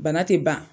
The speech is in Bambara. Bana tɛ ban